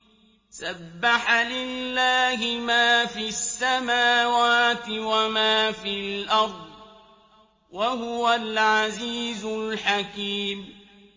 سَبَّحَ لِلَّهِ مَا فِي السَّمَاوَاتِ وَمَا فِي الْأَرْضِ ۖ وَهُوَ الْعَزِيزُ الْحَكِيمُ